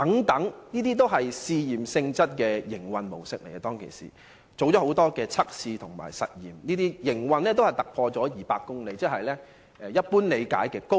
當時的營運模式均屬試驗性質，曾多次進行實驗和測試，列車的行走速度超過200公里，一般理解為"高鐵"。